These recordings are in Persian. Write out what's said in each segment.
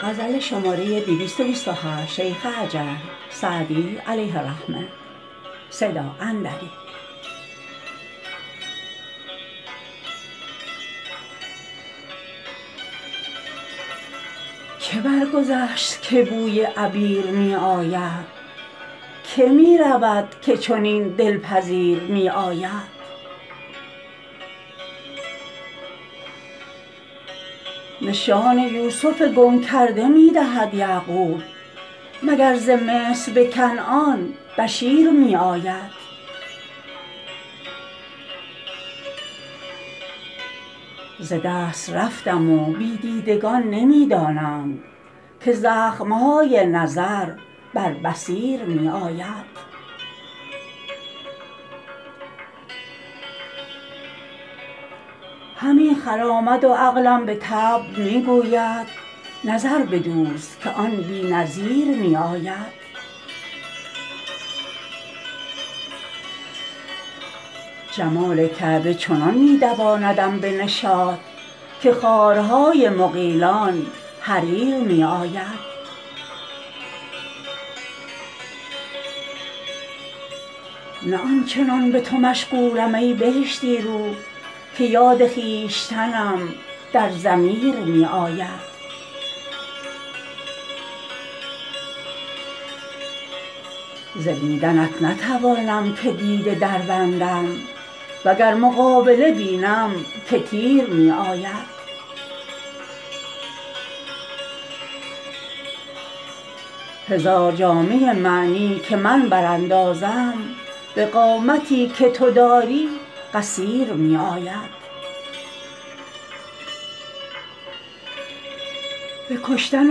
که برگذشت که بوی عبیر می آید که می رود که چنین دل پذیر می آید نشان یوسف گم کرده می دهد یعقوب مگر ز مصر به کنعان بشیر می آید ز دست رفتم و بی دیدگان نمی دانند که زخم های نظر بر بصیر می آید همی خرامد و عقلم به طبع می گوید نظر بدوز که آن بی نظیر می آید جمال کعبه چنان می دواندم به نشاط که خارهای مغیلان حریر می آید نه آن چنان به تو مشغولم ای بهشتی رو که یاد خویشتنم در ضمیر می آید ز دیدنت نتوانم که دیده دربندم و گر مقابله بینم که تیر می آید هزار جامه معنی که من براندازم به قامتی که تو داری قصیر می آید به کشتن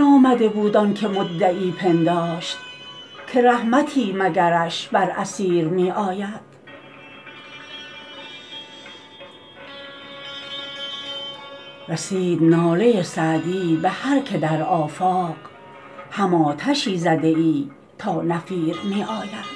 آمده بود آن که مدعی پنداشت که رحمتی مگرش بر اسیر می آید رسید ناله سعدی به هر که در آفاق هم آتشی زده ای تا نفیر می آید